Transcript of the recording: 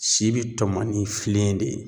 Si bi tɔmɔ ni filen de ye.